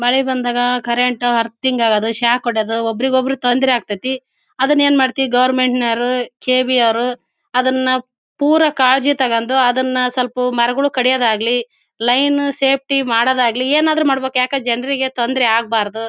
ಮಳೆ ಬಂದಾಗ current earthing ಆಗುವುದು ಶಾಕ್ ಹೊಡೆದು ಒಬ್ಬರ ಒಬ್ಬರಿಗೆ ತೊಂದ್ರೆ ಆಗ್ತತ್ತಿ ಅದ್ನ್ ಏನ್ ಮಾಡತ್ತಿ ಗೋವೆರ್ಮೆನ್ಟ್ ನವರು ಕೆ.ಇ.ಬಿ ಅವ್ರು ಅದನ್ನ ಪುರಾ ಕಾಳಜಿ ತೊಕೊಂದು ಅದನ್ನ ಸ್ವಲ್ಪ ಮರಗಳು ಕಡಿಯೋದಾಗಲಿ ಲೈನ್ ಸೇಫ್ಟಿ ಮಾಡೋದಾಗಲಿ ಏನಾದ್ರು ಮಾಡಬೇಕು ಯಾಕೆ ಜನರಿಗೆ ತೊಂದ್ರೆ ಆಗಬಾರದು.